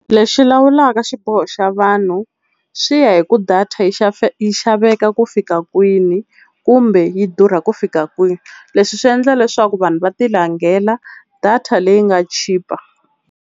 Lexi lawulaka xiboho xa vanhu swi ya hi ku data yi yi xaveka ku fika kwini kumbe yi durha ku fika kwini. Leswi swi endla leswaku vanhu va tilangela data leyi nga chipa.